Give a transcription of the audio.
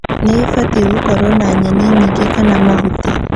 nĩibatie gũkorwo na nyeni nyingĩ kana mahuti